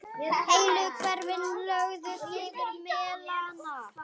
Heilu hverfin lögðust yfir melana.